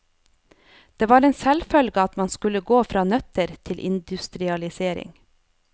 Det var en selvfølge at man skulle gå fra nøtter til industrialisering.